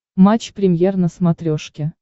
матч премьер на смотрешке